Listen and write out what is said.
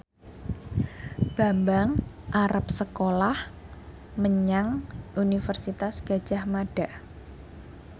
Bambang arep sekolah menyang Universitas Gadjah Mada